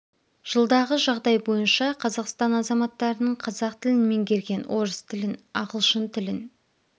жылдағы жағдай бойынша қазақстан азаматтарының қазақ тілін меңгерген орыс тілін ағылшын тілін